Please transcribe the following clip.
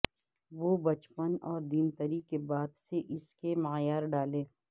وہ بچپن اور دیمتری کے بعد سے اس کے معیار ڈالے